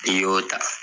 N'i y'o ta